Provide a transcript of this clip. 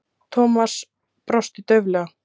Thomas brosti dauflega.